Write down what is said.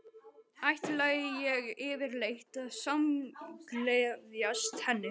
Ætlaði ég yfirleitt að samgleðjast henni?